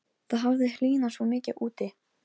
Kemur þá maður gangandi í fölgulum náttslopp og ilskóm.